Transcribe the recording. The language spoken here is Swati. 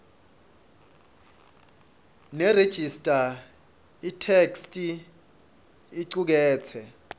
nerejista itheksthi icuketse